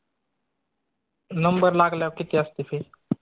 number लागल्यावर किती आसते fee?